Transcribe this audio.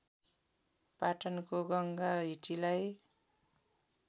पाटनको गङ्गा हिटीलाई